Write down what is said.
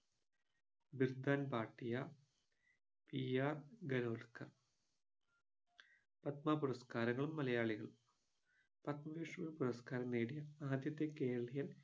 Bir Bhan Bhatia P R ഗരുദകർ പത്മ പുരസ്കാരങ്ങളും മലയാളികളും പത്മവിഭൂഷൺ പുരസ്‌കാരം നേടിയ ആദ്യത്തെ കേരളീയൻ